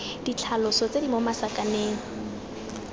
ditlhaloso tse di mo masakaneng